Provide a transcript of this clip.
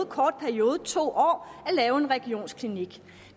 kort periode to år at lave en regionsklinik